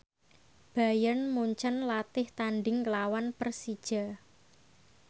Bayern Munchen latih tandhing nglawan Persija